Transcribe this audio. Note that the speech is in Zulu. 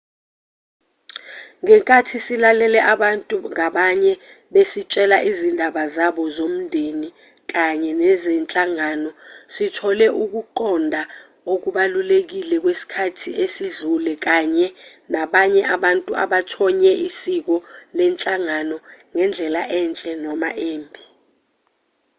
ngenkathi silalele abantu ngabanye besitshela izindaba zabo zomndeni kanye nezenhlangano sithole ukuqonda okubalulekile kwesikhathi esidlule kanye nabanye babantu abathonye isiko lenhlangano ngendlela enhle noma embi